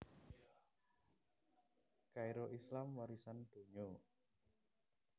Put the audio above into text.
Kairo Islam warisan donya